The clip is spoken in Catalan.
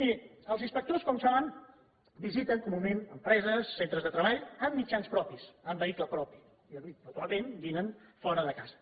miri els inspectors com saben visiten comunament empreses centres de treball amb mitjans propis amb vehicle propi i habitualment dinen fora de casa